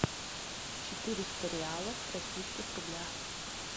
четыреста реалов в российских рублях